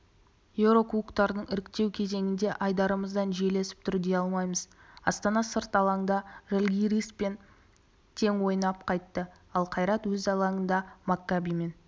еурокубоктардың іріктеу кезеңінде айдарымыздан жел есіп тұр дей алмаймыз астана сырт алаңда жальгириспен тең ойнап қайтты ал қайрат өз алаңында маккабиден